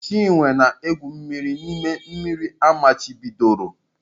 Chinwe na-egwu mmiri n'ime mmiri amachibidoro.